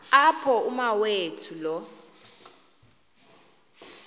apho umawethu lo